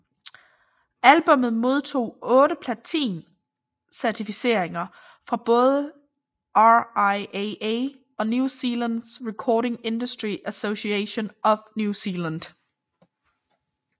Albummet modtog otte platin certificeringer fra både RIAA og New Zealands Recording Industry Association of New Zealand